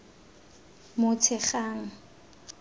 motshegang